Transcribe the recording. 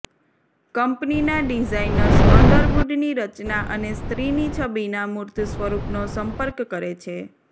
કંપનીના ડિઝાઇનર્સ અંડરવુડની રચના અને સ્ત્રીની છબીના મૂર્ત સ્વરૂપનો સંપર્ક કરે છે